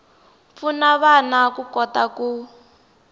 pfuna vana ku kota ku